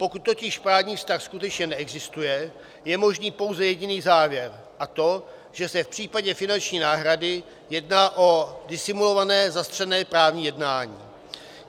Pokud totiž právní vztah skutečně neexistuje, je možný pouze jediný závěr, a to že se v případě finanční náhrady jedná o disimulované, zastřené právní jednání.